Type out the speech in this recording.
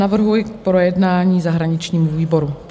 Navrhuji k projednání zahraničnímu výboru.